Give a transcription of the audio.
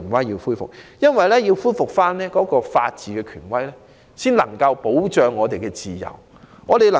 只有恢復法治權威，才能保障我們的自由，從而......